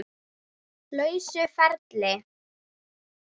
lausa ferli.